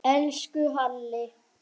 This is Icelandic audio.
Elsku Halli.